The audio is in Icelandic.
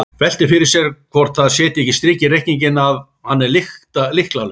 Veltir fyrir sér hvort það setji ekki strik í reikninginn að hann er lykla- laus.